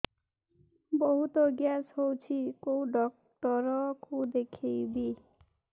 ବହୁତ ଗ୍ୟାସ ହଉଛି କୋଉ ଡକ୍ଟର କୁ ଦେଖେଇବି